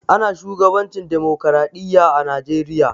Ana shugabancin demokradiyya a najeriya.